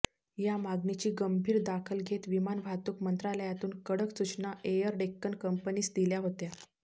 या मागणीची गंभीर दखल घेत विमान वाहतूक मंत्रालयातून कडक सूचना एअर डेक्कन कंपनीस दिल्या होत्या